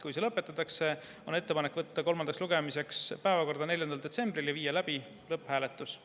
Kui see lõpetatakse, on ettepanek võtta eelnõu kolmandaks lugemiseks päevakorda 4. detsembril ja viia läbi lõpphääletus.